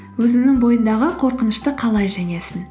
өзіңнің бойындағы қорқынышты қалай жеңесің